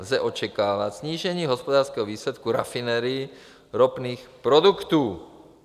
Lze očekávat snížení hospodářského výsledku rafinérií ropných produktů.